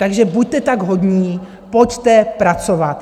Takže buďte tak hodní, pojďte pracovat.